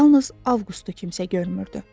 Yalnız Avqustu kimsə görmürdü.